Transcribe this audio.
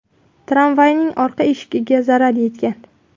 Tramvayning orqa eshigiga zarar yetgan.